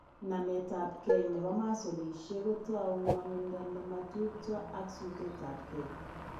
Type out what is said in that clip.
Nametab gee nebo masolishek kotou ng'wanindo ne mo tupcho ak sutetab gee.